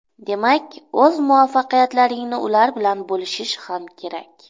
Demak, o‘z muvaffaqiyatlaringni ular bilan bo‘lishish ham kerak.